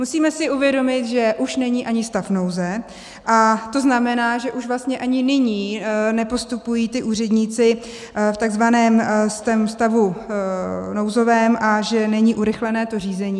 Musíme si uvědomit, že už není ani stav nouze, a to znamená, že už vlastně ani nyní nepostupují ti úředníci v takzvaném stavu nouzovém a že není urychlené to řízení.